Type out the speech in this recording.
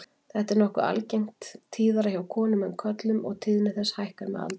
Þetta er nokkuð algengt, tíðara hjá konum en körlum og tíðni þess hækkar með aldri.